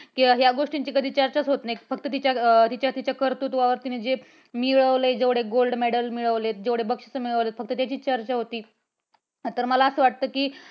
किंवा या गोष्टीची कधी चर्चाच होत नाही. फक्त तिच्यातिच्या कर्तृत्वावर तिने जे मिळवले जेवढे gold medal मिळवले, जेवढे बक्षिसे मिळवले फक्त त्याचीच चर्चा होते. तर मला असं वाटतं की